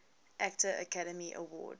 actor academy award